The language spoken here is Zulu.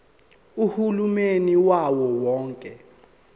uhulumeni wawo wonke